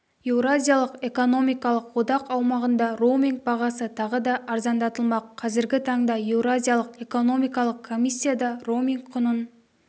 еуразиялық экономикалық одақ аумағында роуминг бағасы тағы да арзандатылмақ қазіргі таңда еуразиялық экономикалық комиссияда роуминг құнын